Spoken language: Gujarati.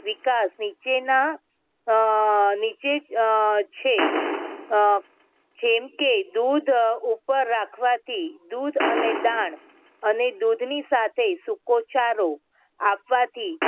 વિકાસ નીચેના અમ નીચે અમ છે. અમ જેમ કે દૂધ ઉપર રાખવાથી દૂધ અને દાણ અને દૂધની સાથે સુકોચારો આપવાથી